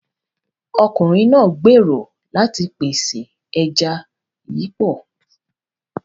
Ọkùnrin náà gbèrò láti pèsè ẹja yípo.